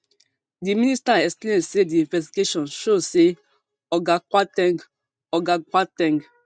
di minister explain say di investigation show say oga kwar ten g oga kwar ten g